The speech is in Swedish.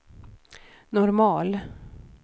normal